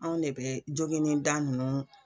Anw de bɛ joginin da nunnu.